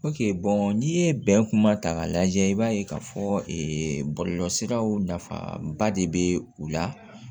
n'i ye bɛn kuma ta k'a lajɛ i b'a ye k'a fɔ ee bɔlɔlɔsiraw nafaba de bɛ u la